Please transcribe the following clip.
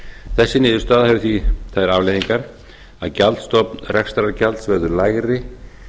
þessi niðurstaða hefur því þær afleiðingar að gjaldstofn rekstrargjalds verður lægri